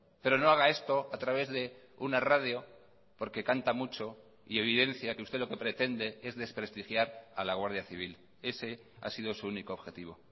pero no haga esto a través de una radio porque canta mucho y evidencia que usted lo que pretende es desprestigiar a la guardia civil ese ha sido su único objetivo